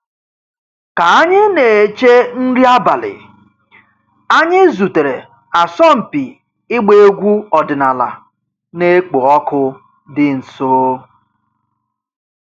Ka anyị na-eche nri abalị, anyị zutere asọmpi ịgba egwu ọdịnala na-ekpo ọkụ dị nso.